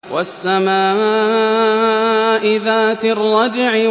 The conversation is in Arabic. وَالسَّمَاءِ ذَاتِ الرَّجْعِ